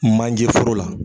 Manje foro la